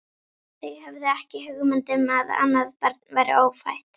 Þau höfðu ekki hugmynd um að annað barn væri ófætt.